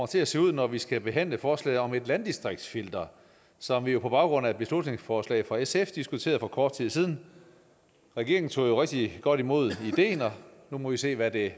til at se ud når vi skal behandle forslaget om et landdistriktsfilter som vi på baggrund af et beslutningsforslag fra sf diskuterede for kort tid siden regeringen tog jo rigtig godt imod ideen og nu må vi se hvad det